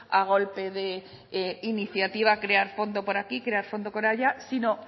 a golpe de iniciativa crear fondo por aquí crear fondo por allá sino